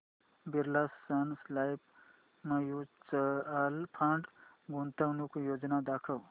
Birla sun life mutual fund गुंतवणूक योजना दाखव